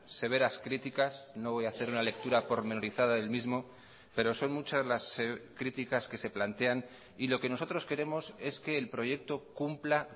severas críticas no voy a hacer una lectura pormenorizada del mismo pero son muchas las críticas que se plantean y lo que nosotros queremos es que el proyecto cumpla